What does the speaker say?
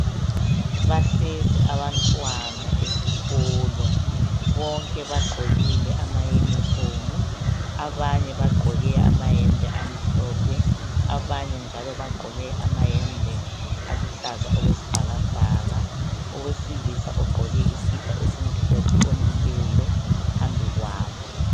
Bahlezi abantwana esikolo bonke bagqokile amayunifomu abanye bagqoke amayembe amhlophe abanye njalo bagqoke amayembe aluhlaza okwesibhakabhaka. Owesilisa ogqoke isikipa esimhlophe omileyo phambili kwabo.